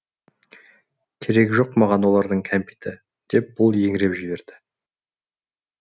керек жоқ маған олардың кәмпиті деп бұл еңіреп жіберді